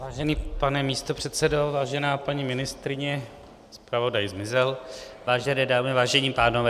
Vážený pane místopředsedo, vážená paní ministryně, zpravodaj zmizel, vážené dámy, vážení pánové.